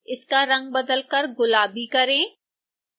इसका रंग बदलकर गुलाबी करें